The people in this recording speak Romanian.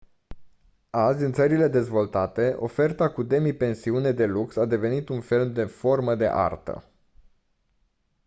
azi în țările dezvoltate oferta cu demipensiune de lux a devenit un fel de formă de artă